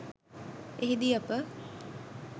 එහි දී අප